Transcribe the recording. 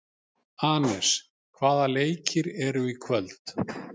Anes, hvaða leikir eru í kvöld?